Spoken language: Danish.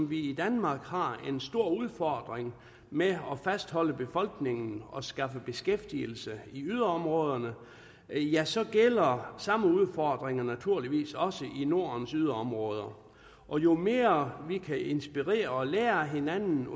vi i danmark har en stor udfordring med at fastholde befolkningen og skaffe beskæftigelse i yderområderne ja så gælder samme udfordringer naturligvis også i nordens yderområder og jo mere vi kan inspirere hinanden og lære af hinanden